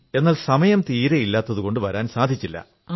എന്നാൽ സമയം തീരെ ഇല്ലാഞ്ഞതുകൊണ്ട് വരാൻ സാധിച്ചില്ല